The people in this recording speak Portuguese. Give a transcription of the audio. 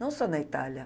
Não só na Itália.